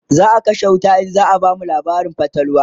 zaa kashe wuta in zaa bamu labarin fatalwa